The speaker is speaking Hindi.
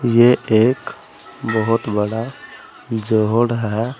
ये एक बहोत बड़ा है।